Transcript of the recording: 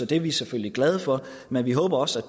det er vi selvfølgelig glade for men vi håber så